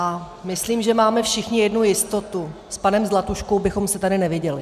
A myslím, že máme všichni jednu jistotu - s panem Zlatuškou bychom se tady neviděli.